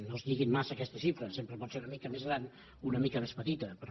no es lliguin massa a aquesta xifra sempre pot ser una mica més gran o una mica més petita però